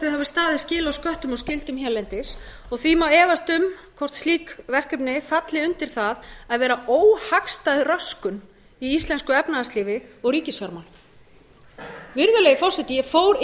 skil á sköttum og skyldum hérlendis og því má efast um hvort slík verkefni falli undir það að vera óhagstæð röskun í íslensku efnahagslífi og ríkisfjármálum virðulegi forseti ég fór yfir